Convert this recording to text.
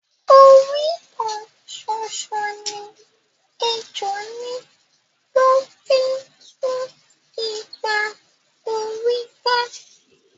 Orí kan ṣoṣo ni ejò ní tó fi ńtú igba orí ká